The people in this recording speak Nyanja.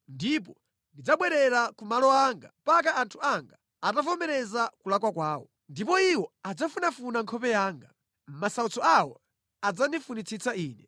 Ndipo ndidzabwerera ku malo anga mpaka anthu anga atavomereza kulakwa kwawo. Ndipo iwo adzafunafuna nkhope yanga; mʼmasautso awo adzandifunitsitsa Ine.”